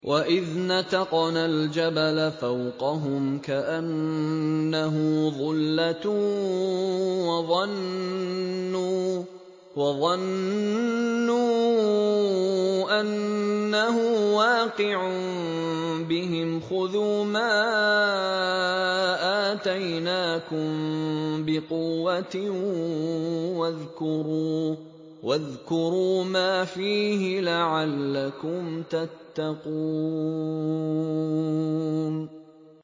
۞ وَإِذْ نَتَقْنَا الْجَبَلَ فَوْقَهُمْ كَأَنَّهُ ظُلَّةٌ وَظَنُّوا أَنَّهُ وَاقِعٌ بِهِمْ خُذُوا مَا آتَيْنَاكُم بِقُوَّةٍ وَاذْكُرُوا مَا فِيهِ لَعَلَّكُمْ تَتَّقُونَ